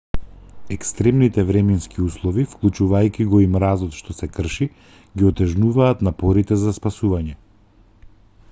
екстремните временски услови вклучувајќи го и мразот што се крши ги отежнуваат напорите за спасување